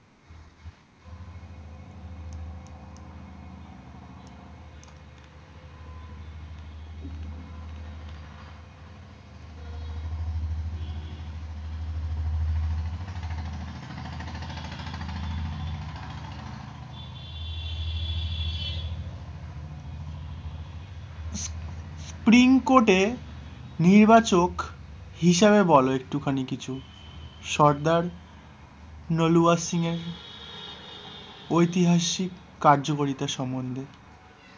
পিংকোটে নির্বাচক হিসাবে বল একটুখানি কিছু সর্দার নলোয়া সিং এর ঐতিহাসিক কার্যকরিতা সম্পর্কে?